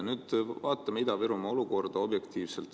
Vaatame Ida‑Virumaa olukorda objektiivselt.